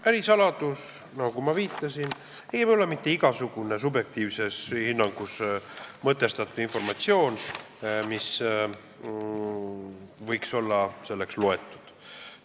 Ärisaladus, nagu ma viitasin, ei ole mitte igasugune subjektiivse hinnanguna mõtestatud informatsioon, mida võiks selleks lugeda.